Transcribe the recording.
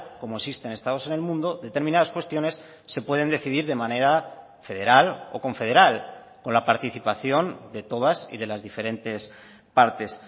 como existen estados en el mundo determinadas cuestiones se pueden decidir de manera federal o confederal con la participación de todas y de las diferentes partes